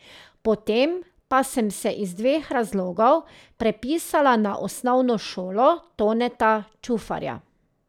Potem pa sem se iz dveh razlogov prepisala na osnovno šolo Toneta Čufarja.